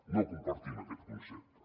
no compartim aquest concepte